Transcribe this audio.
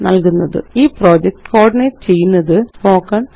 ഈ project coordinate ചെയ്യുന്നത് httpspoken tutorialorg